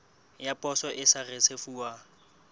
ya poso e sa risefuwang